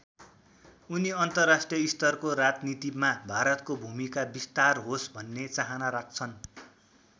उनी अन्तर्राष्ट्रिय स्तरको राजनीतिमा भारतको भूमिका विस्तार होस् भन्ने चाहना राख्छन्।